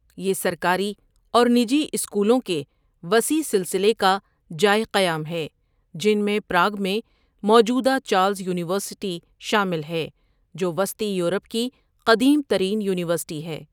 یہ سرکاری اور نجی اسکولوں کے وسیع سلسلے کا جائے قیام ہے، جن میں پراگ میں موجود چارلس یونیورسٹی شامل ہے جو وسطی یورپ کی قدیم ترین یونیورسٹی ہے۔